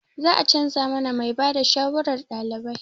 Za a canza mana mai ba da shawarar ɗalibai.